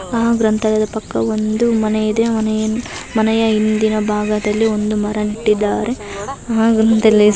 ಆ ಗ್ರಂಥಾಲಯದ ಪಕ್ಕ ಒಂದು ಮನೆಯಿದೆ. ಮನೆಯ ಹಿಂದಿನ ಭಾಗದಲ್ಲಿ ಒಂದು ಮರ ನೆಟ್ಟಿದ್ದಾರೆ. ಆ ಗ್ರಂಥಾಲಯದ್